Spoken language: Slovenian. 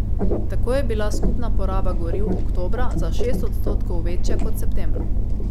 Tako je bila skupna poraba goriv oktobra za šest odstotkov večja kot septembra.